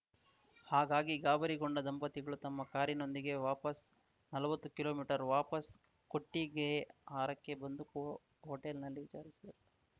ಹಾಗಾಗಿ ಗಾಬರಿಗೊಂಡ ದಂಪತಿಗಳು ತಮ್ಮ ಕಾರಿನೊಂದಿಗೆ ವಾಪಾಸ್‌ ನಲ್ವತ್ತು ಕಿಲೋಮೀಟರ್ ವಾಪಾಸ್‌ ಕೊಟ್ಟಿಗೆಹಾರಕ್ಕೆ ಬಂದು ಹೋ ಹೋಟೆಲ್‌ನಲ್ಲಿ ವಿಚಾರಿಸಿದರು